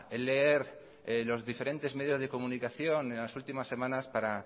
leer los diferentes medios de comunicación en las últimas semanas para